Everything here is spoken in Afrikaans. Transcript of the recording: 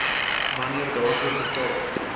wanneer daarvoor betaal